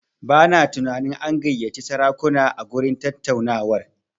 Bana tunanin an gayyaci sarakuna a gurin tattaunawar.